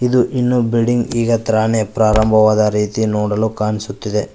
ಇದು ಇನ್ನೂ ಬಿಲ್ಡಿಂಗ್ ಈಗತ್ರಾನೇ ಪ್ರಾರಂಭವಾದ ರೀತಿ ನೋಡಲು ಕಾಣಿಸುತ್ತಿದೆ.